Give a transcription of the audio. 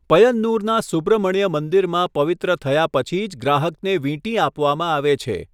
પયન્નુરના સુબ્રમણ્ય મંદિરમાં પવિત્ર થયા પછી જ ગ્રાહકને વીંટી આપવામાં આવે છે.